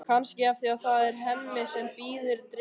Kannski af því að það er Hemmi sem býður drykkinn.